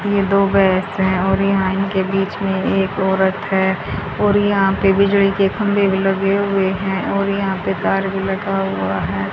ये दो बेड्स हैं और यहां इनके बीच में एक औरत है और यहां पे बिजली के खंभे भी लगे हुए हैं और यहां पे कार भी लगा हुआ है।